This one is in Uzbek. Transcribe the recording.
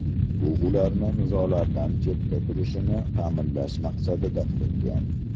Bu ularni nizolardan chetda turishini ta’minlash maqsadida qilingan.